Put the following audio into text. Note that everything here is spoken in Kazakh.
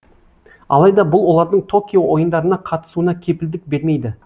алайда бұл олардың токио ойындарына қатысуына кепілдік бермейді